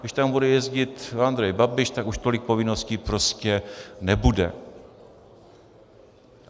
Když tam bude jezdit Andrej Babiš, tak už tolik povinností prostě nebude.